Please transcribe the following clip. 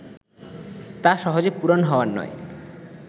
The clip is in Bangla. তা সহজে পূরণ হওয়ার নয়